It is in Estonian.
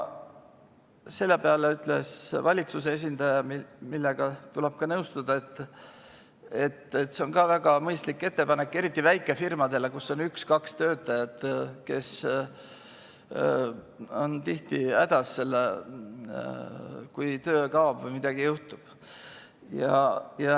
Selle peale ütles valitsuse esindaja – millega tuleb ka nõustuda –, et see on väga mõistlik ettepanek ja eriti väikefirmadele, kus on üks-kaks töötajat, kes on tihti hädas, kui töö kaob või midagi juhtub.